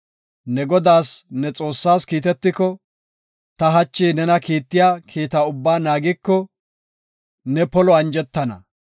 Ne Godaas ne Xoossaas kiitetiko, ta hachi nena kiittiya kiita ubbaa naagiko, ne polo anjetana.